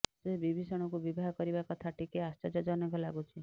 ସେ ବିଭୀଷଣଙ୍କୁ ବିବାହ କରିବା କଥା ଟିକେ ଆଶ୍ଚର୍ଯ୍ୟଜନକ ଲାଗୁଛି